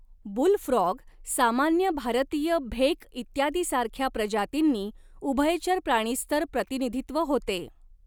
Boule frog, सामान्य भारतीय भेक इत्यादीसारख्या प्रजातींनी उभयचर प्राणीस्तर प्रतिनिधित्व होते.